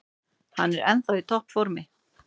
Hann er ennþá í topp formi.